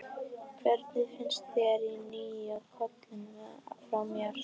Hvernig finnst þér nýi kjóllinn fara mér?